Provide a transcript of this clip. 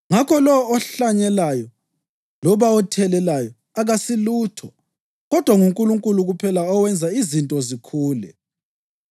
Ngakho lowo ohlanyelayo, loba othelelayo, akasilutho, kodwa nguNkulunkulu kuphela owenza izinto zikhule.